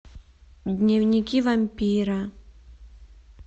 дневники вампира